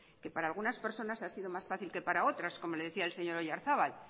que para algunas personas han sido más fácil que para otras como le decía el señor oyarzabal